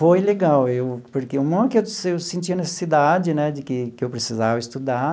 Foi legal, eu porque uma que eu senti a necessidade né de que que eu precisava estudar